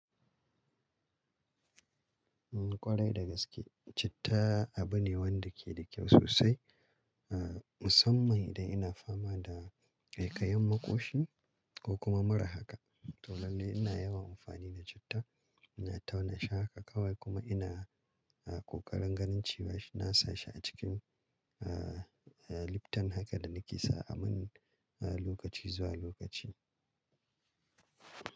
Kwarai da gaske, citta abu ne wanda ke da kyau sosai, uhm musamman idan ina fama da ƙaikayin maƙoshi ko kuma mara haka. Tolali ina yawan amfani da citta, ina tauna shi haka kawai kuma ina, uhm ƙoƙarin ganin cewa na sa shi a cikin, uhm, uhm liptan haka da nake sa a min, uhm lokaci zuwa lokaci.